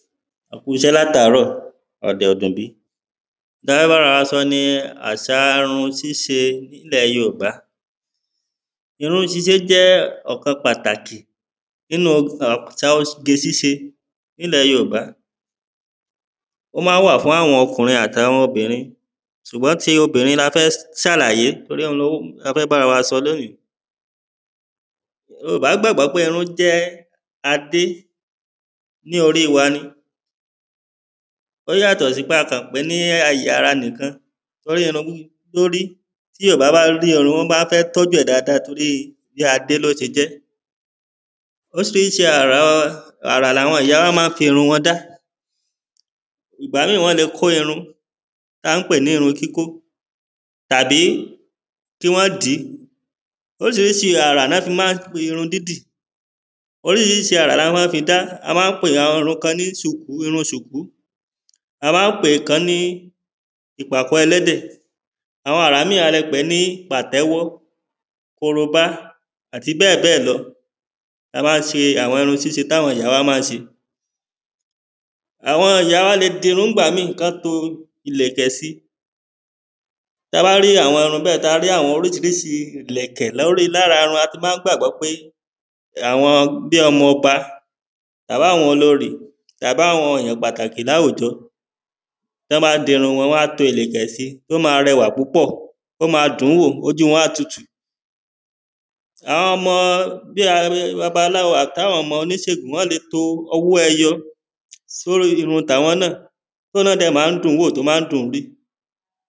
ẹ kú iṣẹ́ láàtàrọ̀, ọ̀dẹ̀ ò dùn bí, ǹkan táa fẹ́ bára wa sọ ni áṣa irun ṣíṣe nílẹ̀ yorùbá irun ṣíṣe jẹ́ ọ̀kan pàtàkì nínú àṣa oge ṣíse nílẹ̀ yoòbá ó máa wà fún àwọn okùnrin àti obìnrin ṣùgbọ́n ti obìnrin la fẹ́ ṣàlàyé torí òhun ló la fẹ́ bára wa sọ ní òní yorùbá gbàgbọ́ pé irun jẹ́ adé ní orí wa ni ó yàtò sí pé a kàn pè ní àyè ara nìkan, torí irun lórí tí yorùbá bá rí irun wọ́n máa fẹ́ tọ́jú dáadáa tóri bíi adé ló ṣe jẹ́ oríṣiríṣi àra àrà làwọn ìyá wa máa ń fi irun wọn dá ìgbá míì wọ́n le kó irun tí a ń pè ní irun kíkó tàbí kí wọ́n dìí. oríṣiríṣi àrà ná fi máa ń pè irun dídì tàbí kíwọ́n dìí oríṣirísi àrà láa máa fi dá, a máa ń pè àwọn irun kan ní ṣùkú, irun ṣùkú a máa ń pè ìkan ní ìpàkọ́ ẹlẹ́dẹ̀ àwọn àrà míì a lè pè ní pàtẹ́wọ́ korobá, àti bẹ́ẹ̀bẹ́ẹ̀ lọ tabá ṣe àwọn irun ṣíṣe táwọn ìyá wa máa ń ṣe àwọn ìyá wa le dirun nígbà míì kọ́n to ìlẹ̀kẹ̀ síi táa bá rí àwọn irun bẹ́ẹ̀ táa rí àwọn oríṣiríṣi ìlẹ̀kẹ̀ lórí lára irun a ti máa ń gbàgbọ́ pé àwọn bíi ọmọba, tàbá wọn olorì tàbá wọn èyàn pàtàkì láwùjọ, tọ́n bá di irun wán to ìlẹ̀kẹ̀ si, ó máa rẹwà púpọ̀ ó máa dùn-ún wò, ojú wọn á tutù àwọn ọmọ bíi a babaláwo àbí àwọn ọmọ oníṣegùn wọ́n le to owó ẹyọ sórí irun tàwọn, tóhun náà dẹ̀ máa dùn-ún wò tó dẹ̀ máa ń dùn-ún gbé